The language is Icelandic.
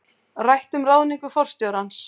Rætt um ráðningu forstjórans